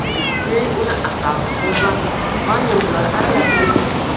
Keyin uni asal, tuxum va vanil bilan aralashtiring.